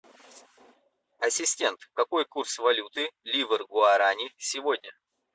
ассистент какой курс валюты ливр гуарани сегодня